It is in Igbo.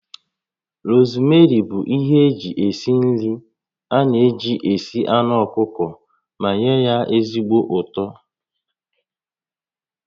Rosmeri bụ ihe eji esi nri a na-eji esi anụ ọkụkọ ma nye ya ezigbo ụtọ